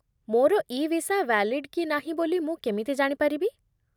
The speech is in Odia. ମୋର ଇ ଭିସା ଭ୍ୟାଲିଡ୍ କି ନାହିଁ ବୋଲି ମୁଁ କେମିତି ଜାଣିପାରିବି?